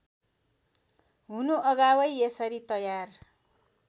हुनु अगावै यसरी तयार